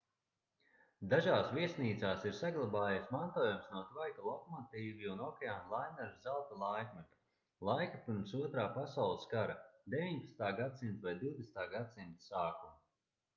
dažās viesnīcās ir saglabājies mantojums no tvaika lokomotīvju un okeāna laineru zelta laikmeta laika pirms otrā pasaules kara 19. gs vai 20. gs sākuma